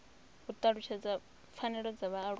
u talutshedza pfanelo dza vhaaluwa